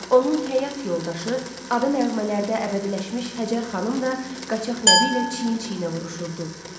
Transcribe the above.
Onun həyat yoldaşı, adı nəğmələrdə əbədiləşmiş Həcər xanım da Qaçaq Nəbi ilə çiyin-çiyinə vuruşurdu.